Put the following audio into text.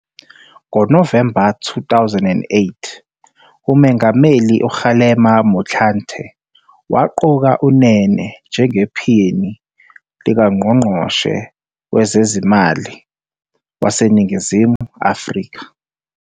NgoNovemba 2008 uMengameli uKgalema Motlanthe waqoka uNene njengePhini likaNgqongqoshe Wezezimali waseNingizimu Afrika.